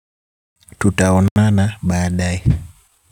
Tutaonana baadaye.